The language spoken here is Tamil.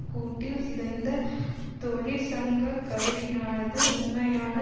கூட்டில் சிதைந்த தொழிற்சங்க கருவியானது உண்மையான